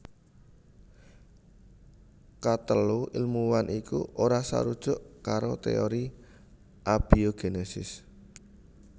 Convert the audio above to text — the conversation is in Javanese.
Katelu ilmuwan iku ora sarujuk karo téori abiogénesis